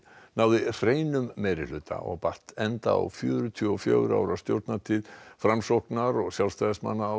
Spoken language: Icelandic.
náði hreinum meirihluta og batt enda á fjörutíu og fjögurra ára stjórnartíð Framsóknar og Sjálfstæðismanna á